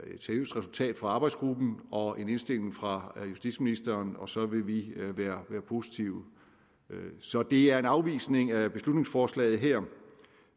resultat fra arbejdsgruppen og en indstilling fra justitsministeren og så vil vi være positive så det er en afvisning af beslutningsforslaget her